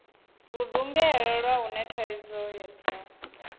ludungela lwa hune thaidzo dza